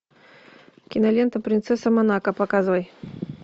кинолента принцесса монако показывай